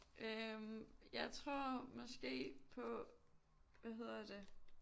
Øh jeg tror måske på hvad hedder det